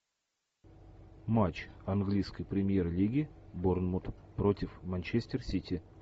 матч английской премьер лиги борнмут против манчестер сити